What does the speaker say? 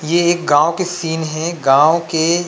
ऐ एक गाँव के सीन गाँव के